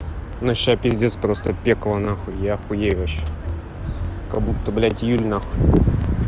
ну сейчас пиздец просто пекло нахуй я хуею вообще как будто блядь июль нахуй